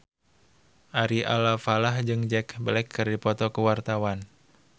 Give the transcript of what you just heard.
Ari Alfalah jeung Jack Black keur dipoto ku wartawan